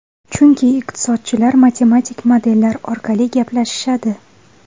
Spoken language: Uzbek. Chunki iqtisodchilar matematik modellar orqali gaplashishadi.